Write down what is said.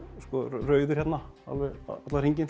rauður hérna alveg allan hringinn